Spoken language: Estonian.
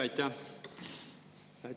Aitäh!